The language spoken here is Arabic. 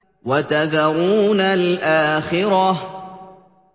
وَتَذَرُونَ الْآخِرَةَ